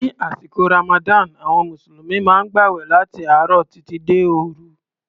Ní àsìkò Ramadan, àwọn Mùsùlùmí maá ń gbàwẹ̀ láti àárọ̀ títí dé òru.